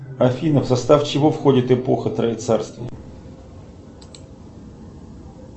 афина в состав чего входит эпоха троецарствия